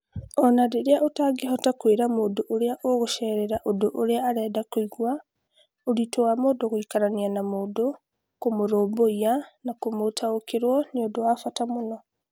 O na rĩrĩa ũtangĩhota kwĩra mũndũ ũrĩa ũgũceerera ũndũ ũrĩa arenda kũigua, ũritũ wa mũndũ gũikarania na mũndũ, kũmũrũmbũiya, na kũmũtaũkĩrũo nĩ ũndũ wa bata mũno.